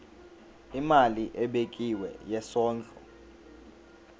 imali ebekiwe yesondlo